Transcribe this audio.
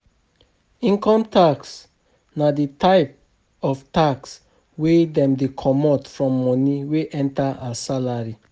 Income tax na di type of tax wey dem dey comot form money wey enter as salary